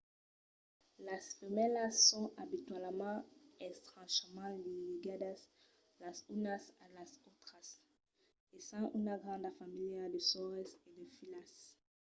las femèlas son abitualament estrechament ligadas las unas a las autras essent una granda familha de sòrres e de filhas